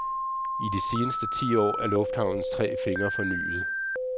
I de seneste ti år er lufthavnens tre fingre fornyet.